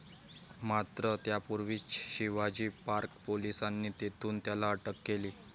मात्र, त्यापूर्वीच शिवाजी पार्क पोलिसांनी तेथून त्याला अटक केली.